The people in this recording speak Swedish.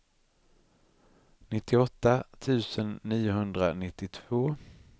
nittioåtta tusen niohundranittiotvå